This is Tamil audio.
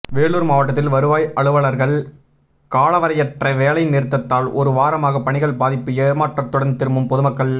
வேலூர் மாவட்டத்தில் வருவாய் அலுவலர்கள் காலவரையற்ற வேலை நிறுத்தத்தால் ஒரு வாரமாக பணிகள் பாதிப்பு ஏமாற்றத்துடன் திரும்பும் ெபாதுமக்கள்